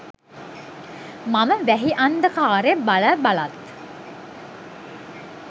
මම වැහි අන්දකාරෙ බල බලත්